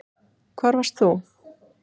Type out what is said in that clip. Hvar varst þú?